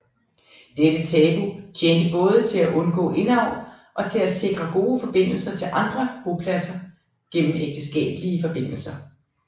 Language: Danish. Dette tabu tjente både til at undgå indavl og til at sikre gode forbindelser til andre bopladser gennem ægteskabelige forbindelser